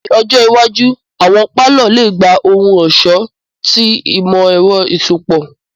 Ni ọjọ iwaju, awọn palọ le gba ohun-ọṣọ ti imọ-ẹrọ iṣọpọ.